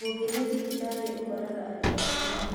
Ũngĩthiĩ thibitarĩ ũkoraga andũ aingĩ